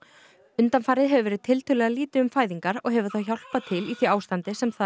undanfarið hefur verið tiltölulega lítið um fæðingar og hefur það hjálpað til í því ástandi sem þar